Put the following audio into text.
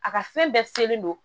A ka fɛn bɛɛ selen don